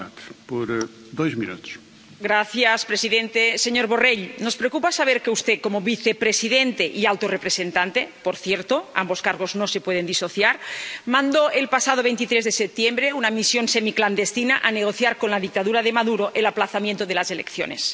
Señor presidente, señor Borrell, nos preocupa saber que usted, como vicepresidente y alto representante —por cierto, ambos cargos no se pueden disociar—, mandó el pasado 23 de septiembre una misión semiclandestina a negociar con la dictadura de Maduro el aplazamiento de las elecciones.